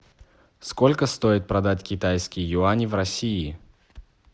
сколько стоит продать китайские юани в россии